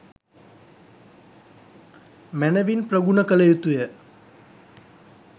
මැනවින් ප්‍රගුණ කළ යුතුය.